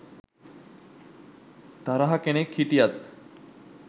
තරහ කෙනෙක් හිටියත්